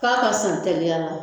K'a ka san teliya la